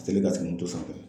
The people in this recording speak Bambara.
U kɛlen k'a sigi moto sanfɛ